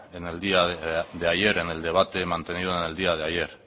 en el día de ayer en el debate mantenido en el día de ayer